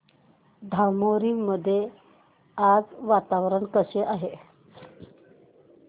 धामोरी मध्ये आज वातावरण कसे आहे